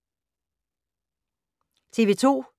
TV 2